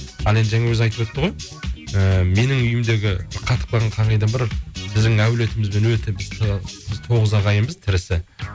ал енді жаңа өзі айтып өтті ғой ііі менің үйімдегі қатып қалған қағидам бар біздің әулиетімізбен өте тоғыз ағайынбыз тірісі